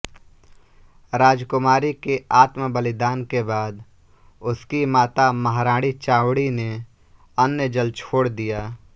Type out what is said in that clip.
राजकुमारी के आत्मबलिदान के बाद उसकी माता महाराणी चावडी ने अन्नजल छोड़ दिया